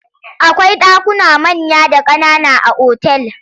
Akwai ɗakuna manya da ƙanana a otal.